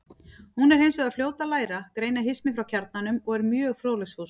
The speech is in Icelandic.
Hún er hins vegar fljót að læra, greina hismið frá kjarnanum og er mjög fróðleiksfús.